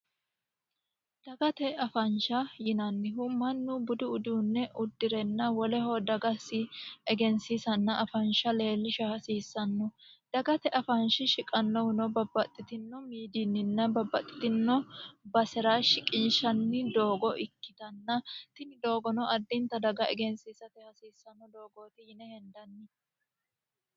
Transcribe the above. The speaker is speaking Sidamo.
Dagate afansha yinnanniha Manu budu uduune udire woleho dagasi egansiissanna woleho afansha leelishano hasiissano dagate afanshi shiqanohuno babaxitino miidiinninna babaxitino basera shiqinshanni doogo ikitanna tinni doogono adinta daga leelisha hasiisano doogooti yinne hendanni.